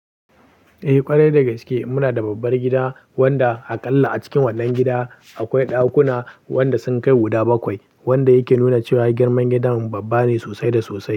Eh ƙwarai da gaske muna da babbar gida wanda ha kalla a cikin wannan gida akwai ɗakuna wanda sun kai guda bakwai, wanda yake nuna cewa girman gidan babba ne sosai da sosai.